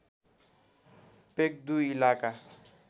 पेक्दु इलाका